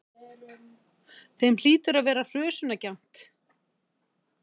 Þeim hlýtur að vera hrösunargjarnt!